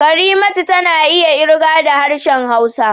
Karimatu tana iya ƙirga da harshen Hausa